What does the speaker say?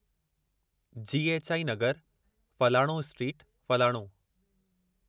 Ji. H. I. नगरु, फ़लाणो street, फ़लाणो।